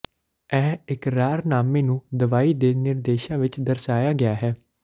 ਇਹ ਇਕਰਾਰਨਾਮੇ ਨੂੰ ਦਵਾਈ ਦੇ ਨਿਰਦੇਸ਼ਾਂ ਵਿੱਚ ਦਰਸਾਇਆ ਗਿਆ ਹੈ